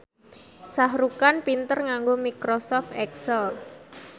Shah Rukh Khan pinter nganggo microsoft excel